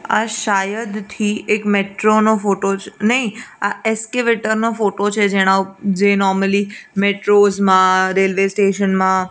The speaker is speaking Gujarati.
આ શાયદથી એક મેટ્રો નો ફોટો છે નઈ આ એક્સ્કેવેટર નો ફોટો છે જે નોર્મલી મેટ્રોસ મા રેલ્વે સ્ટેશન મા--